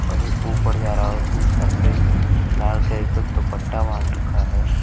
और ये ऊपर जा रहा है। उसने सर पे लाल का दुपट्टा बांध रखा है।